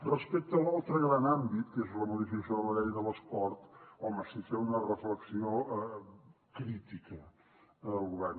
respecte a l’altre gran àmbit que és la modificació de la llei de l’esport home sí fer una reflexió crítica en el govern